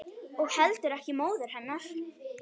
Og heldur ekki móður hennar.